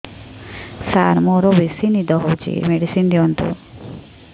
ସାର ମୋରୋ ବେସି ନିଦ ହଉଚି ମେଡିସିନ ଦିଅନ୍ତୁ